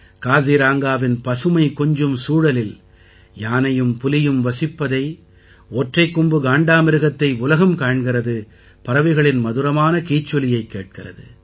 காசிரங்காவின் பசுமை கொஞ்சும் சூழலில் யானையும் புலியும் வசிப்பதை ஒற்றைக் கொம்பு காண்டாமிருகத்தை உலகம் காண்கிறது பறவைகளின் மதுரமான கீச்சொலியைக் கேட்கிறது